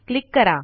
click करा